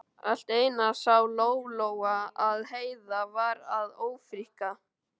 Allt í einu sá Lóa-Lóa að Heiða var að ófríkka.